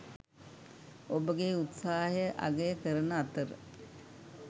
ඔබගේ උත්සාහය අගය කරන අතර